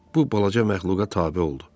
Bu balaca məxluqa tabe oldu.